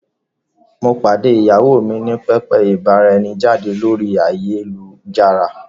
Mo pàdé ìyàwó mi ní pẹpẹ ìbára-ẹni-jáde lórí ayélujára.